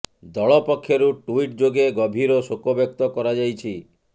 ଦଳ ପକ୍ଷରୁ ଟ୍ୱିଟ ଯୋଗେ ଗଭୀର ଶୋକ ବ୍ୟକ୍ତ କରାଯାଇଛି